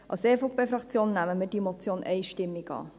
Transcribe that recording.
Als EVP-Fraktion nehmen wir diese Motion einstimmig an.